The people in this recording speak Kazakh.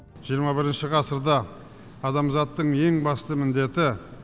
жиырма бірінші ғасырда адамзаттың ең басты міндеті